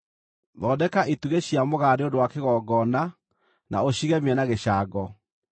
Thondeka itugĩ cia mũgaa nĩ ũndũ wa kĩgongona na ũcigemie na gĩcango.